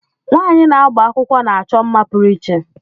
Nwaanyi na-agba akwụkwọ na-achọ mma pụrụ iche.